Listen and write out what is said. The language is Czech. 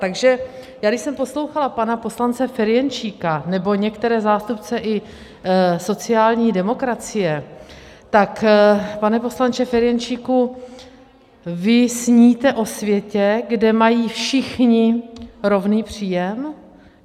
Takže já když jsem poslouchala pana poslance Ferjenčíka nebo některé zástupce i sociální demokracie, tak pane poslanče Ferjenčíku, vy sníte o světě, kde mají všichni rovný příjem?